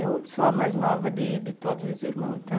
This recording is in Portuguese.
Eu sou a mais nova de de todos os irmãos, então...